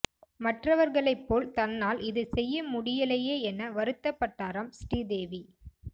மற்றவர்களை போல் தன்னால் இதை செய்ய முடியலயே என வருத்தப்பட்டாராம் ஸ்ரீதேவி